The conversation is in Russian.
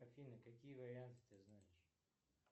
афина какие варианты ты знаешь